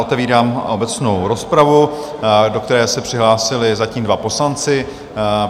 Otevírám obecnou rozpravu, do které se přihlásili zatím dva poslanci.